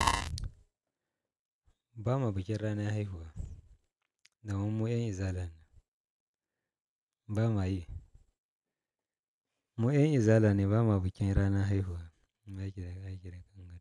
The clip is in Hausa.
Ba ma bikin ranar haihuwa, daman mu mu'ayan Izala ne. Ba ma yi. Mu'ayan Izala ne ba ma bikin ranar haihuwa.